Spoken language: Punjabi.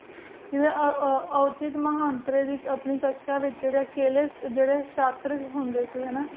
ਆ ਊ ਓਜੇਡੀ ਮਹ੍ਨ੍ਦ੍ਰੀ ਦੇ ਆਪਣੀ ਤ੍ਕ੍ਸ਼ਾ ਵੇਚ ਜੇਰੀ ਕੀਲੀ ਜੇਰੀ ਸਹਤੇ ਹੁੰਦੀ